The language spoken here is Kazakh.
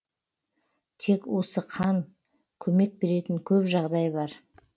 тек осы қан көмек беретін көп жағдай бар